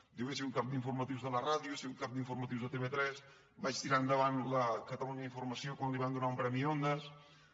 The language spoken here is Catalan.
diu he sigut cap d’informatius de la ràdio he sigut cap d’informatius de tv3 vaig tirar endavant catalunya informació quan li van donar un premi ondas